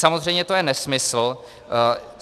Samozřejmě to je nesmysl.